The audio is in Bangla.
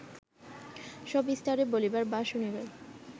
সবিস্তারে বলিবার বা শুনিবার